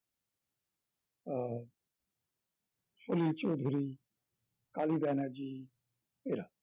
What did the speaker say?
সলিল চৌধুরী, কালী ব্যানার্জি এরা